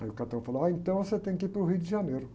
Aí o falou, ah, então você tem que ir para o Rio de Janeiro.